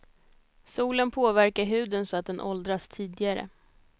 Solen påverkar huden så att den åldras tidigare.